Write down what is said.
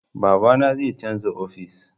Babana zai canza ofis